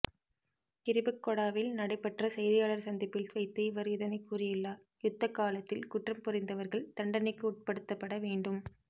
கிரிபத்கொடவில் நடைபெற்ற செய்தியாளர் சந்திப்பில் வைத்து அவர் இதனைக் கூறியுள்ளார்யுத்தக் காலத்தில் குற்றம் புரிந்தவர்கள் தண்டனைக்கு உட்படுத்தப்பட வேண்டும்